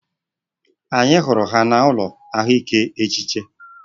Anyị hụrụ ha n'ụlọ ahụike echiche